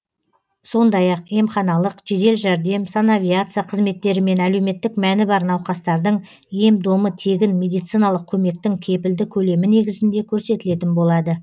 сондай ақ емханалық жедел жәрдем санавиация қызметтері мен әлеуметтік мәні бар науқастардың ем домы тегін медициналық көмектің кепілді көлемі негізінде көрсетілетін болады